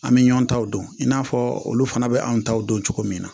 An bɛ ɲɔn taw dɔn in n'a fɔ olu fana bɛ an taw dɔn cogo min na